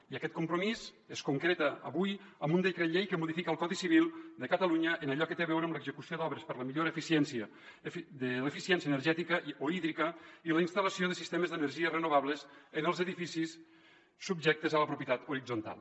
i aquest compromís es concreta avui amb un decret llei que modifica el codi civil de catalunya en allò que té a veure amb l’execució d’obres per la millora de l’eficiència energètica o hídrica i la instal·lació de sistemes d’energies renovables en els edificis subjectes a la propietat horitzontal